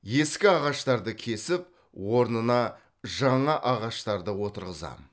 ескі ағаштарды кесіп орнына жаңа ағаштарды отырғызам